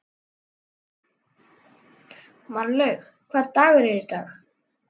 Marlaug, hvaða dagur er í dag?